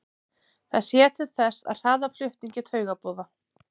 það sér til þess að hraða flutningi taugaboða